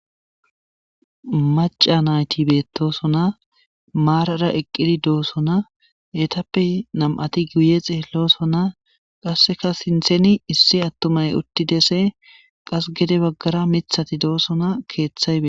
Macca naytti beetosonna,maarara eqqidi de7osonna,ettappe nam77atti guye xeelosona,qasseka sinththen issi attumay uttidesi,qasse gede baggara miththati de7osonna,keethay beteesi.